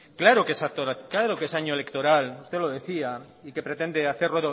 claro que es año electoral usted lo decía y que pretende hacer